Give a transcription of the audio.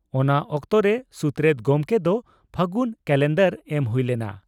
ᱚᱱᱟ ᱚᱠᱛᱚᱨᱮ ᱥᱩᱛᱨᱮᱛ ᱜᱚᱢᱠᱮ ᱫᱚ ᱯᱷᱟᱹᱜᱩ ᱠᱟᱞᱮᱱᱫᱟᱨ ᱮᱢ ᱦᱩᱭ ᱞᱮᱱᱟ ᱾